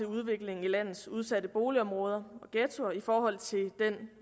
udviklingen i landets udsatte boligområder og ghettoer i forhold til den